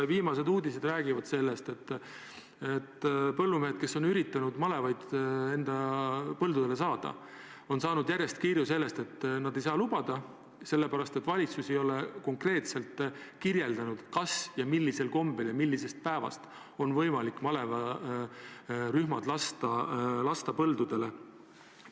Viimased uudised räägivad sellest, et põllumehed, kes on üritanud malevaid enda põldudele saada, on järjest saanud kirju, et seda ei saa lubada, sellepärast et valitsus ei ole konkreetselt teada andnud, kas üldse ja kui, siis millisel kombel ja mis päevast on võimalik malevarühmad põldudele lasta.